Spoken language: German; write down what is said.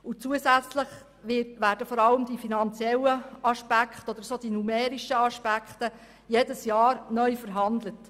Zusätzlich werden vor allem die finanziellen beziehungsweise numerischen Aspekte jedes Jahr neu verhandelt.